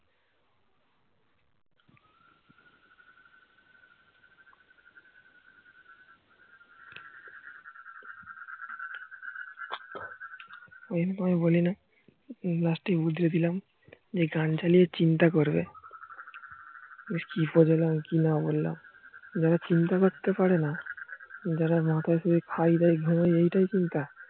ঐজন্য তোমায় বলি না last এ উদরে দিলাম এই গান চালিয়ে চিন্তা করবে কি বললাম কি না বললাম যারা চিন্তা করতে পারে না যাদের মাথায় শুধু ফায়দাই ঘরে এইটাই চিন্তা